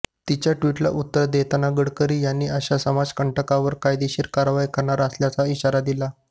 तिच्या ट्वीटला उत्तर देताना गडकरी यांनी अशा समाजकंटकांवर कायदेशीर कारवाई करणार असल्याचा इशारा दिला